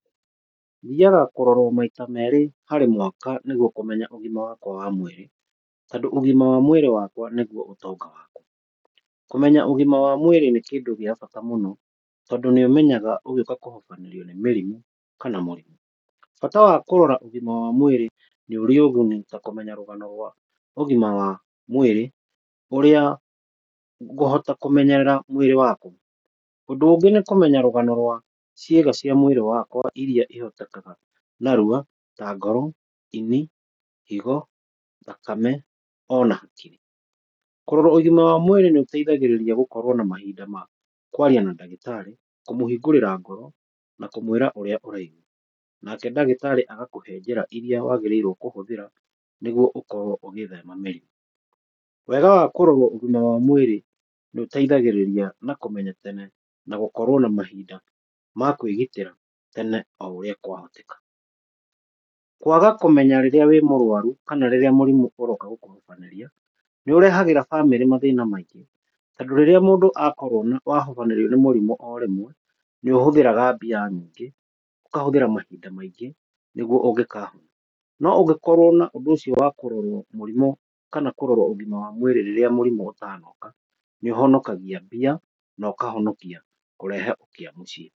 Thiaga kũrorwo maita merĩ harĩ mwaka nĩguo kũmenya ũgima wakwa wa mwĩrĩ. Tondũ ũgima wa mwĩrĩ wakwa nĩguo ũtonga wakwa. Kũmenya ũgima wa mwĩrĩ nĩ kĩndũ gĩa bata mũno, tondũ nĩ ũmenyaga ũgĩũka kũhobanĩrio nĩ mĩrimũ kana mũrimũ. Bata wa kũrora ũgima wa mwĩrĩ nĩ ũrĩ ũguni ta kũmenya rũgano rwa ũgima wa mwĩrĩ ũrĩa ngũhota kũmenyerera mwĩrĩ wakwa. Ũndũ ũngĩ nĩ kũmenya rũgano rwa ciĩga cia mwĩrĩ wakwa irĩa cihotekaga narua ta ngoro, ini, higo, thakame ona hakiri. Kũrorwo ũgima wa mwĩrĩ nĩ ũteithagĩrĩria gũkoragwo na mahinda ma kwaria na ndagĩtarĩ, kũmũhingũrĩra ngoro na kũmwĩra ũrĩa ũraigua. Nake ndagĩtarĩ agakũhe njĩra irĩa waagĩrĩrwo kũhũthĩra nĩguo ũkorwo ũgĩthema mĩrimũ. Wega wa kũrorwo ũgima wa mwĩrĩ nĩ ũteithagĩrĩria na kũmenya tene na gũkorwo na mahinda ma kwĩgitĩra tene, o ũrĩa kwahoteka. Kwaga kũmenya rĩrĩa wĩ mũrwaru kana rĩrĩa mũrimũ ũroka gũkũhobanĩria nĩ ũrehagĩra bamĩrĩ mathĩna maingĩ. Tondũ rĩrĩa mũndũ akorwo wahobanĩrio nĩ mũrimũ o rĩmwe, nĩ ũhũthĩraga mbia nyingĩ, ũkahũthĩra mahinda maingĩ nĩguo ũngĩkahona, no ũngĩkorwo na ũndũ ũcio wa kũrorwo mũrimũ kana kũrorwo ũgima wa mwĩrĩ rĩrĩa mũrimu ũtanoka, nĩ ũhonokagia mbia na ũkahonokia kũrehe ũkĩa mũciĩ.